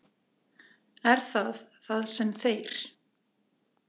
Er það það sem þeir.